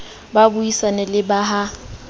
ba buisane le ba ha